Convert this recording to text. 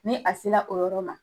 Ni a sera o yɔrɔ ma